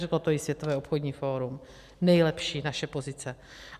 Řeklo to i Světové obchodní fórum - nejlepší naše pozice.